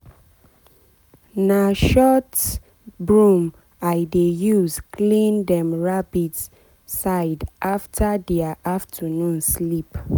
na short broom i dey use clean dem rabbit side after dia afternoon sleep.